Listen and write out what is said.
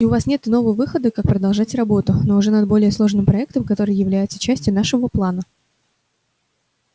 и у вас нет иного выхода как продолжать работу но уже над более сложным проектом который является частью нашего плана